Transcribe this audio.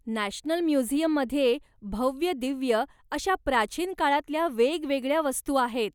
National म्युझियममध्ये भव्यदिव्य अशा प्राचीन काळातल्या वेगवेगळ्या वस्तू आहेत.